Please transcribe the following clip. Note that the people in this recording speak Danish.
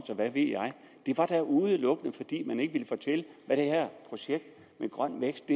og hvad ved jeg det var da udelukkende fordi man ikke ville fortælle hvad det her projekt med grøn vækst